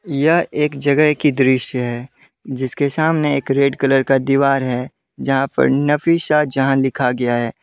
यह एक जगह की दृश्य है जिसके सामने एक रेड कलर का दीवार है जहां पर नफीशाजहां लिखा गया है।